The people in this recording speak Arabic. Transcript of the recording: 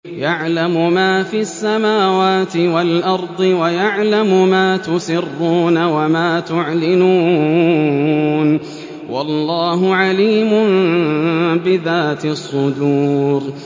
يَعْلَمُ مَا فِي السَّمَاوَاتِ وَالْأَرْضِ وَيَعْلَمُ مَا تُسِرُّونَ وَمَا تُعْلِنُونَ ۚ وَاللَّهُ عَلِيمٌ بِذَاتِ الصُّدُورِ